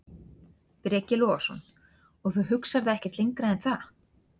Breki Logason: Og þú hugsar það ekkert lengra en það?